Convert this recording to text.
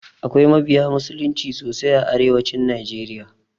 Akwai mabiya musulunci sosai a arewacin najeriya.